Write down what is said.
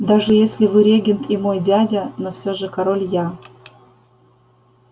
даже если вы регент и мой дядя но все же король я